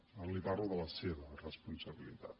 ara li parlo de la seva responsabilitat